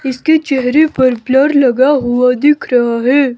इसके चेहरे पर ब्लर लगा हुआ दिख रहा है।